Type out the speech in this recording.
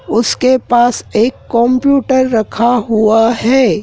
उसके पास एक कंप्यूटर रखा हुआ है।